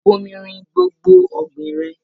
Bomirin gbogbo ọ̀gbìn rẹ!